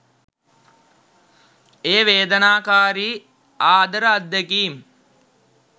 එය වේදනාකාරී ආදර අත්දැකීම්